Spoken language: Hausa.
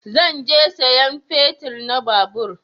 Zan je sayan fetir na babur